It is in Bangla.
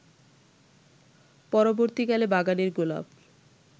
পরবর্তীকালে বাগানের গোলাপ